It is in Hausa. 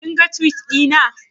Kin ga Tiwit ɗina